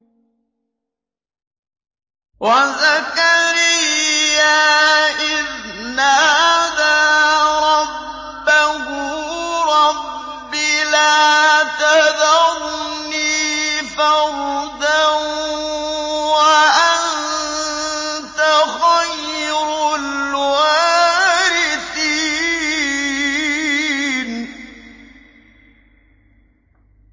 وَزَكَرِيَّا إِذْ نَادَىٰ رَبَّهُ رَبِّ لَا تَذَرْنِي فَرْدًا وَأَنتَ خَيْرُ الْوَارِثِينَ